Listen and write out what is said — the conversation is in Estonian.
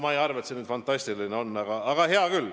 Ma ei arva, et see fantastiline on, aga hea küll.